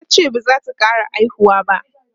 tace bazata ƙara haihuwa ba